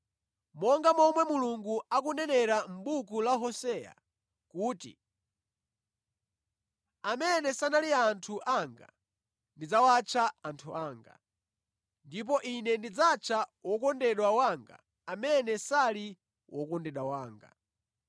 Monga momwe Mulungu akunenera mʼbuku la Hoseya kuti, “Amene sanali anthu anga ndidzawatcha ‘anthu anga;’ ndipo Ine ndidzatcha ‘wokondedwa wanga’ amene sali wokondedwa wanga,”